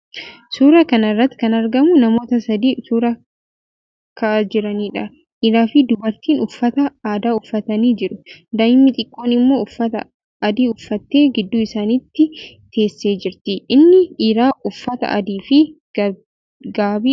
Suuraa kana irratti kan argamu namoota sadii suuraa ka'aa jiraniidha. Dhiiraafi dubartiin uffata aadaa uffatanii jiru. Daa'imni xiqqoon immoo uffata adii uffattee gidduu isaanii teessee jirti. Inni dhiiraa uffata adiifi gaabii uffatee jira.